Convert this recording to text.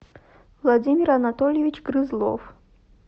владимир анатольевич грызлов